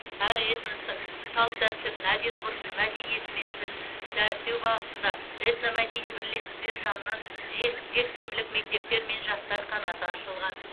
әр этностың салт дәстүрін әдеп ғұрпын мәдениеті мен тілін дәріптеу бағытында этномәдени бірлестіктер жанынан жес жексенбілік мектептер мен жастар қанаты ашылған